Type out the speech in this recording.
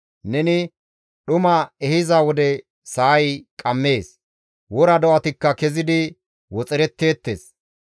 Neni dhuma ehiza wode sa7ay qammees; wora do7atikka kezidi woxeretteettes.